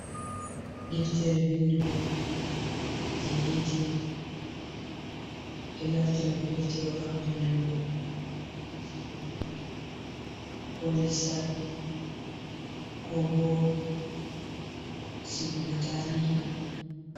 Deftere windugo jei etilif, ɓe ɗon naftira be deftere on ha windugo Kuje jangirde ko lissafi ko bosigugo kuje tarihi.